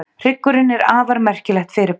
Hryggurinn er afar merkilegt fyrirbæri.